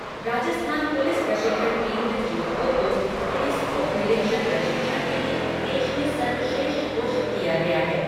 Rajasthan police प्रशिक्षण केन्द्र, जोधपुर को पुलिस उप निरीक्षक प्रशिक्षण के लिए देश में सर्वश्रेष्ठ घोषित किया गया है।